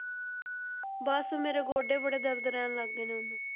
ਬਸ ਮੇਰੇ ਗੋਡੇ ਬੜੇ ਦਰਦ ਰਹਿਣ ਲੱਗ ਗਏ ਨੇ ਹੁਣ।